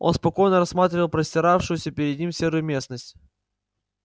он спокойно рассматривал простиравшуюся перед ним серую местность